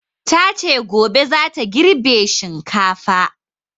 Ta ce gobe za ta girbe shinkafa